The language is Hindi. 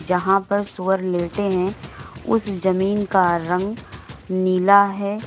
यहां पर सूअर लेटे हैं उस जमीन का रंग नीला है।